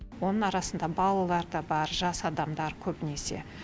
оның арасында балалар да бар жас адамдар көбінесе